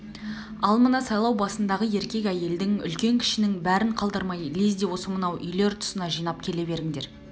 ал мына сайлау басындағы еркек-әйелдің үлкен-кішінің бәрін қалдырмай лезде осы мынау үйлер тұсына жинап келе беріңдер